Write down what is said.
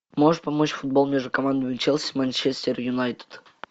можешь помочь футбол между командами челси манчестер юнайтед